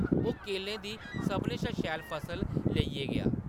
ओह्‌‌ केलें दी सभनें शा शैल फसल लेइयै गेआ ।